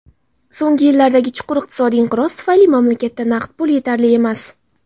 So‘nggi yillardagi chuqur iqtisodiy inqiroz tufayli mamlakatda naqd pul yetarli emas.